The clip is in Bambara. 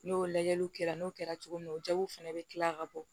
N'o lajɛliw kɛra n'o kɛra cogo min na o jaw fana bɛ tila ka bɔ